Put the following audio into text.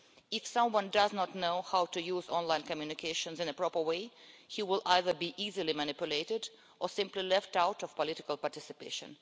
Those who do not know how to use online communications in a proper way will either be easily manipulated or simply left out of political participation.